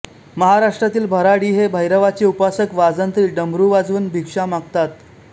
महाराष्ट्रातील भराडी हे भैरवाचे उपासक वाजंत्री डमरू वाजवून भिक्षा मागतात